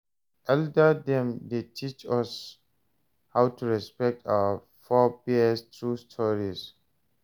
Elder dem dey teach us how to respect our forebears through stories.